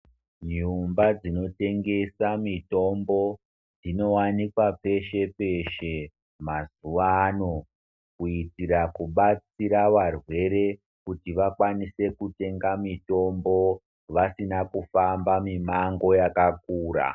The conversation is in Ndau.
Nyumba dzinotengesa mitombo dzinowanikwa peshe peshe mazuwa ano kuitira kubatsira varwere kuti vakwanise kutenga mitombo vasina kufamba mimango yakakura.